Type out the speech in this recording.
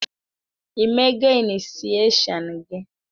I mego inisieshon gị?